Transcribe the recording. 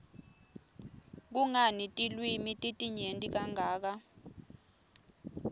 kungani tilwimi titinyenti kangaka